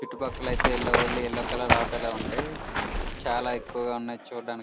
ఇటు పక్కలైతే only yellow colour auto లే ఉంటాయ్ చాల ఎక్కువగా ఉన్నాయ్ చుడానికి --